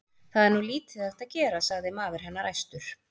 Það er nú lítið hægt að gera, sagði maður hennar æstur.